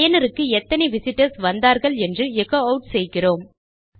பயனருக்கு எத்தனை விசிட்டர்ஸ் வந்தார்கள் என்று எச்சோ ஆட் செய்கிறோம்